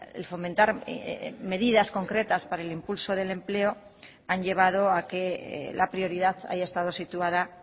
el fomentar medidas concretas para el impulso del empleo han llevado a que la prioridad haya estado situada